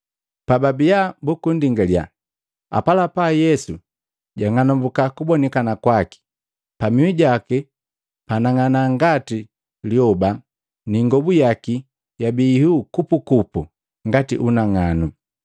Pababiya bukundingaliya, apalapa Yesu jwang'anambuka kubonikana kwaki. Pamihu jaki panang'ana ngati lyoba ni ingobu yaki yabii ihuu kupukupu ngati unang'anu.